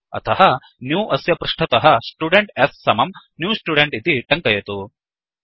अतः न्यू अस्य पृष्टतः स्टुडेन्ट् s समम् न्यू स्टुडेन्ट् इति टङ्कयतु